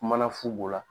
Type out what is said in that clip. Kuma na fu bo la